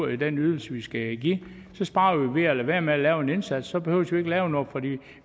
i den ydelse de skal give så sparer de ved at lade være med at lave en indsats så behøver de ikke lave noget for